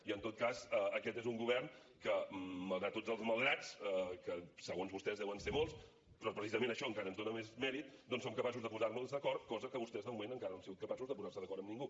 i en tot cas aquest és un govern que malgrat tots els malgrats que segons vostès deuen ser molts però precisament això encara ens dóna més mèrit doncs som capaços de posar nos d’acord cosa que vostès de moment encara no han sigut capaços de posar se d’acord amb ningú